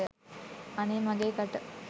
අනේ මගෙ කට!